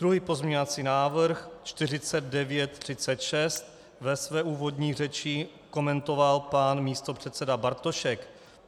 Druhý pozměňovací návrh, 4936, ve své úvodní řeči komentoval pan místopředseda Bartošek.